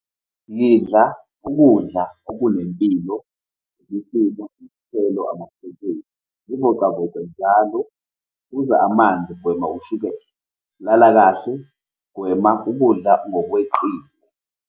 Yidla ukudla okunempilo, imifino nezithelo , zivocavoce njalo, phuza amanzi, gwema ushukela, lala kahle, gwema ukudla ngokweqile.